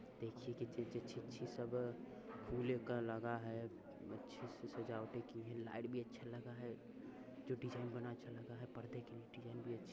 देखिए कितने अच्छी-अच्छी सब फूल का लगा है। अच्छे से सजावटें की है। लाइट भी अच्छा लगा है। जो डिज़ाइन बना अच्छा लगा है। पर्दे की डिजाइन भी अच्छी --